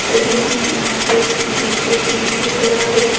में यहाँ पे एक जीप रूकी हुई नज़र आ रही है।